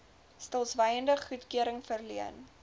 stilswyend goedkeuring verleen